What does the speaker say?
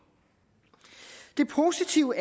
de positive